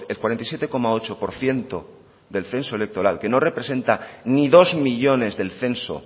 cuarenta y siete coma ocho por ciento del censo electoral que no representa ni dos millónes del censo